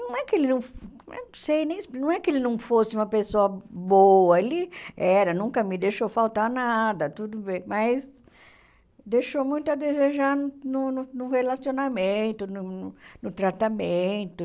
Não é que ele não eu não sei nem ex não é que ele não fosse uma pessoa boa, ele era, nunca me deixou faltar nada, tudo bem, mas deixou muito a desejar no no relacionamento, no no tratamento.